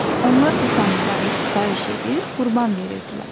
Onlar bu tanrılara sitayiş edir, qurban verirdilər.